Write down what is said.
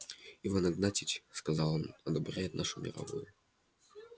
иван игнатьич сказал он одобряет нашу мировую